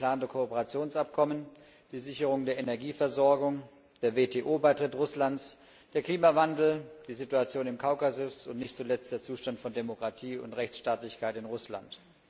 das geplante Kooperationsabkommen, die Sicherung der Energieversorgung, der WTO Beitritt Russlands, der Klimawandel, die Situation im Kaukasus und nicht zuletzt der Zustand von Demokratie und Rechtsstaatlichkeit in Russland.